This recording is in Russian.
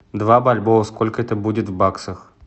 два бальбоа сколько это будет в баксах